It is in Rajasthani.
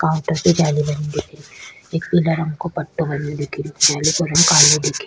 काउंटर पे जाली लगी दिखे री एक पीला रंग को पट्टो बनयो दिखे रो जाली का रंग कालो दिखे।